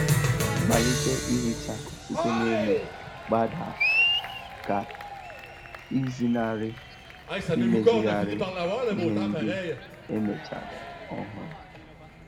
Malite ihicha site n'elu gbadaa ka ịzenarị imezigharị ihe ndị emechara ọhụrụ.